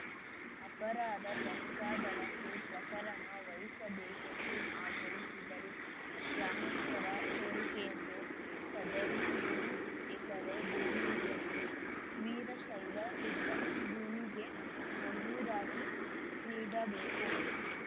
ಅಪರಾಧ ತನಿಖಾ ದಳಕ್ಕೆ ಪ್ರಕರಣ ವಹಿಸಬೇಕೆಂದು ಆಗ್ರಹಿಸಿದರು ಗ್ರಾಮಸ್ಥರ ಕೋರಿಕೆಯಂತೆ ಸದರಿ ಮೂರು ಎಕರೆ ಭೂಮಿಯನ್ನು ವೀರಶೈವ ರುದ್ರಭೂಮಿಗೆ ಮಂಜೂರಾತಿ ನೀಡಬೇಕು